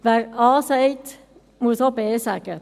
Wer A sagt, muss auch B sagen.